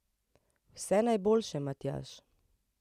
Vse najboljše, Matjaž!